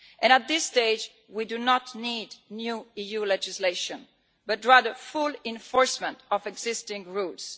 At this stage, we do not need new EU legislation, but rather the full enforcement of existing rules.